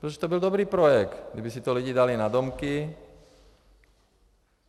Protože to byl dobrý projekt, kdyby si to lidé dali na domky.